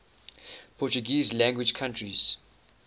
portuguese language countries